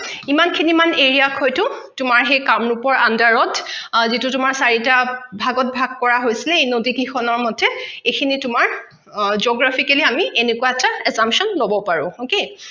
ইমান খিনি মান area ত হয়তো তোমাৰ সেই কামৰুপৰ under ত যিটো তোমাৰ চাৰিটা ভাগত ভাগ কৰা হৈছে এই নদী কিখন ৰ মতে এইখিনি তোমাৰ geographically আমি এনেকুৱা এটা attention লব পাৰো okay